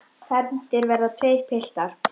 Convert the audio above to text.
Fermdir verða tveir piltar.